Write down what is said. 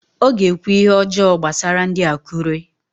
O ga-ekwu ihe ọjọọ gbasara ndị Akụre